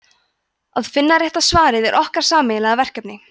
að finna rétta svarið er okkar sameiginlega verkefni